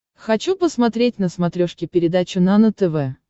хочу посмотреть на смотрешке передачу нано тв